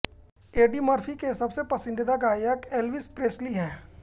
AD Murphy के सबसे पसंदीदा गायक एल्विस प्रेस्ली हैं